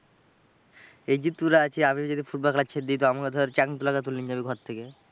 এই যে তোরা আছিস, আমি যদি ফুটবল খেলা ছেড়ে দিই তো আমাকে ধর চ্যাং দোলা করে তুলে নিয়ে যাবে ঘর থেকে।